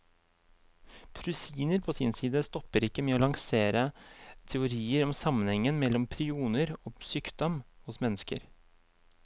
Prusiner på sin side stopper ikke med å lansere teorier om sammenhengen mellom prioner og sykdom hos mennesker.